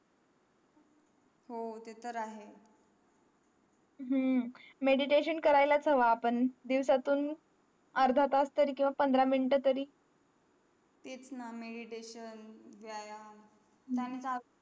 हो ते तर आहे हम्म meditation करायलाच हवा आपण दिवसातून अर्धा तास तरी किंवा पंधरा minute तरी तेच ना meditation व्यायाम तेंही